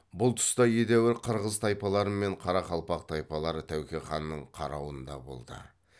бұл тұста едәуір қырғыз тайпалары мен қарақалпақ тайпалары тәуке ханның қарауында болды